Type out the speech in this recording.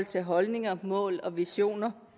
til holdninger mål og visioner